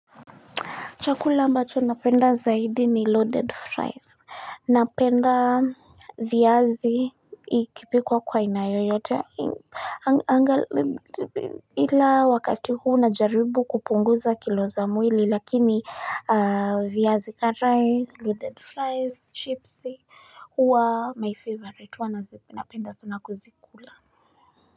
Chakula ambacho napenda zaidi ni loaded fries napenda viazi ikipikwa kwa aina yoyote ila wakati huu najaribu kupunguza kilo za mwili lakini viazi karai, loaded fries, chips huwa my favorite huwa napenda sana kuzikula.